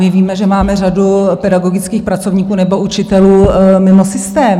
Vy víte, že máme řadu pedagogických pracovníků nebo učitelů mimo systém.